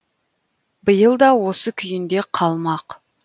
биыл да осы күйінде қалмақ